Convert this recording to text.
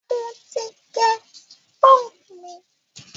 mọ tí gé punk mí.